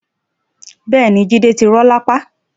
Bẹ́ẹ̀ni Jide ti rọ lápá